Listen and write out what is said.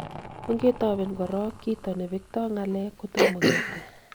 ongetoben korok kito ne bekto ng'alek kotomo ketil